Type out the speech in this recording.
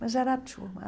mas era a turma.